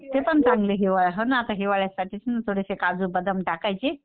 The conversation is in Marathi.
ते पण चांगले हो ना आता हिवाळ्यासाठी थोडेसे काजू बदाम टाकायचे.